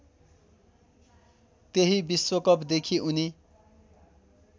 त्यही विश्वकपदेखि उनी